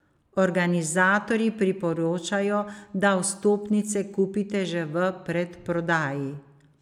Organizatorji priporočajo, da vstopnice kupite že v predprodaji.